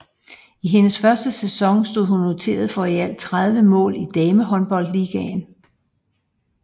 I hendes første sæson stod hun noteret for i alt 30 mål i Damehåndboldligaen